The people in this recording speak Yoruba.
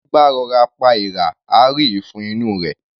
Ẹní bá rọ'ra pa èèrà, á rí ìfun inú u rẹ̀.